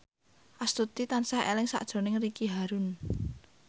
Astuti tansah eling sakjroning Ricky Harun